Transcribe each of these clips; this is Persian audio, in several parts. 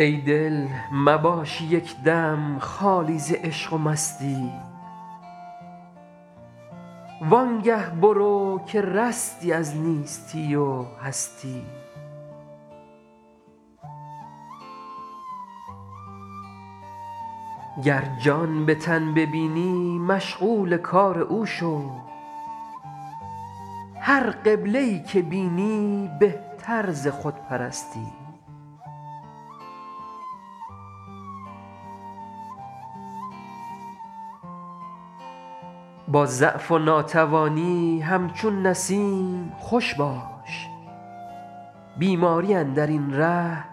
ای دل مباش یک دم خالی ز عشق و مستی وان گه برو که رستی از نیستی و هستی گر جان به تن ببینی مشغول کار او شو هر قبله ای که بینی بهتر ز خودپرستی با ضعف و ناتوانی همچون نسیم خوش باش بیماری اندر این ره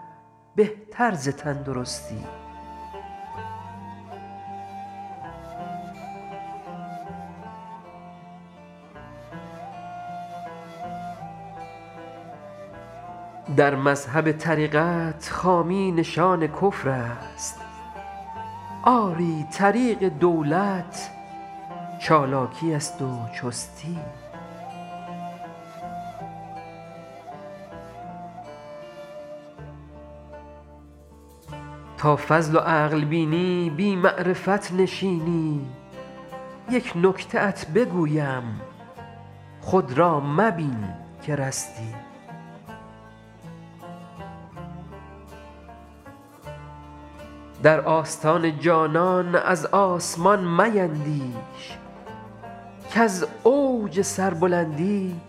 بهتر ز تندرستی در مذهب طریقت خامی نشان کفر است آری طریق دولت چالاکی است و چستی تا فضل و عقل بینی بی معرفت نشینی یک نکته ات بگویم خود را مبین که رستی در آستان جانان از آسمان میندیش کز اوج سربلندی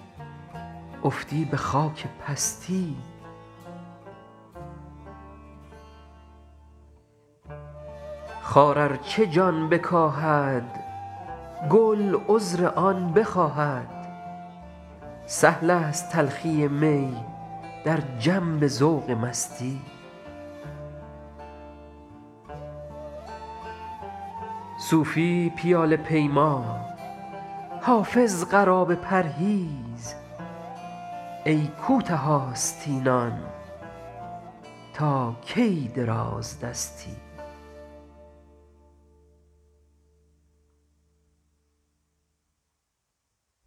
افتی به خاک پستی خار ار چه جان بکاهد گل عذر آن بخواهد سهل است تلخی می در جنب ذوق مستی صوفی پیاله پیما حافظ قرابه پرهیز ای کوته آستینان تا کی درازدستی